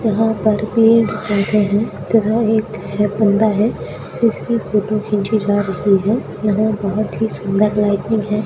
यहां पर पेड़ पौधे हैं तथा एक बंदा है उसकी फोटो खींची जा रही है यहां बहुत ही सुंदर लाइटिंग है।